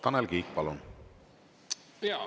Tanel Kiik, palun!